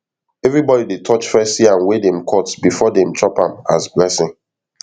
everybody dey touch first yam wey dem cut before dem chop am as blessing